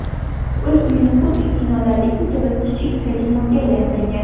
o‘z uyini xuddi kinolardagi kabi kichik kazinoga aylantirgan.